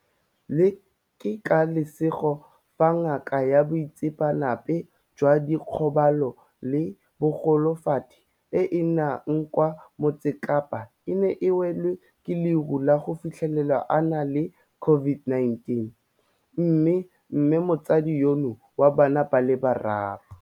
Ke ka lesego fa ngaka ya boitseanape jwa dikgobalo le bogolofadi e e nnang kwa Motsekapa e ne e welwa ke leru la go fitlhelwa a na le COVID-19, mme mmemotsadi yono wa bana ba le bararo.